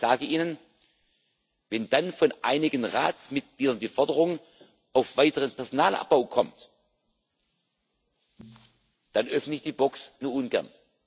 Aber ich sage Ihnen Wenn dann von einigen Ratsmitgliedern die Forderung nach weiterem Personalabbau kommt, dann öffne ich die Box nur ungern.